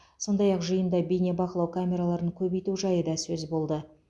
сондай ақ жиында бейнебақылау камераларын көбейту жайы да сөз болды